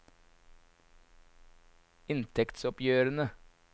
inntektsoppgjørene